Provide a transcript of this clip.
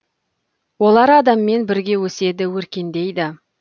олар адаммен бірге өседі өркендейді